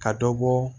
Ka dɔ bɔ